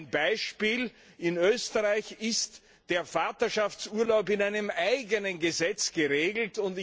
Ein Beispiel In Österreich ist der Vaterschaftsurlaub in einem eigenen Gesetz geregelt.